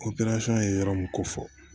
ye yɔrɔ min ko fɔ